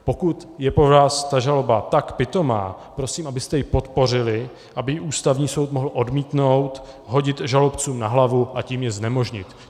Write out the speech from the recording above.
Pokud je pro vás ta žaloba tak pitomá, prosím, abyste ji podpořili, aby ji Ústavní soud mohl odmítnout, hodit žalobcům na hlavu, a tím je znemožnit.